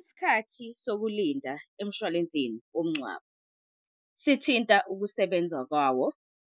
Isikhathi sokulinda emshwalensini womngcwabo sithinta ukusebenza kwawo